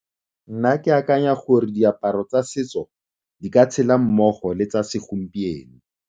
Nna ke akanya gore diaparo tsa setso di ka tshela mmogo le tsa segompieno.